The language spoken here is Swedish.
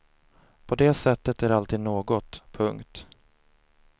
På det sättet är det alltid något. punkt